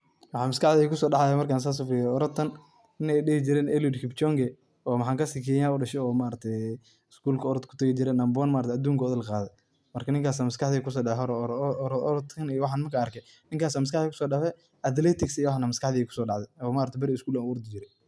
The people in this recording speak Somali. Mxaa MasQaxdey kusidactay, marka sas u feeriyoh ninki ladehi jeeray Eluid kipchonge oo maxakasi keenya u daashay oo schoolka oroot kutagi jiray number one aduunka oo Dan Qathey marka ninkaso Aya MasQaxdey kusodactay, waxan rabah iyo orootgan markan argay, Ninkas Aya MasQaxdey kusodactay athletic iyo waxan Aya MasQaxdey kusodactay iyo maaragt beerikab school u ordi jeeray.